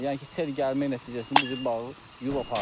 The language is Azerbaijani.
Yəni ki, sel gəlmək nəticəsində bizi bağı yub apardı.